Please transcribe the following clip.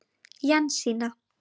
Jensína